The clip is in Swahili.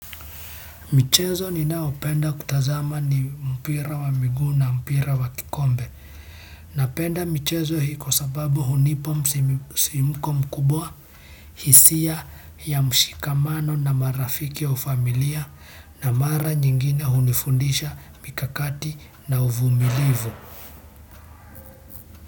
Michezo ninaopenda kutazama ni mpira wa miguu na mpira wa kikombe. Napenda michezo hii kwa sababu hunipa msisimko mkubwa, hisia ya mshikamano na marafiki ya au familia na mara nyingine hunifundisha mikakati na uvumilivu.